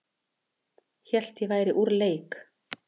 Hélt að ég væri úr leik